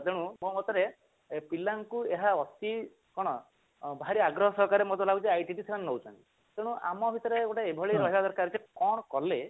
ତେଣୁ ମୋ ମତରେ ପିଲାଙ୍କୁ ଏହା ଅତି କଣ ଭାରି ଆଗ୍ରହ ସହକାରେ ମତେ ଲାଗୁଛି IT କୁ ସେମାନେ ନଉଛନ୍ତି ତେଣୁ ଆମ ଭିତରେ ଗୋଟେ ଏଭଳି ରହିବା ଦରକାର କଣ କଲେ